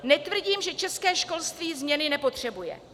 Netvrdím, že české školství změny nepotřebuje.